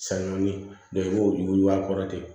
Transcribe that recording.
Sanni nga i b'o yuguyugu a kɔrɔ ten